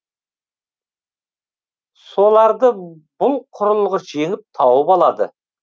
соларды бұл құрылғы жеңіл тауып алады